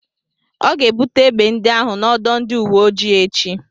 Ọ ga-ebute egbe ndị ahụ n'ọdọ ndị uwe ojii echi.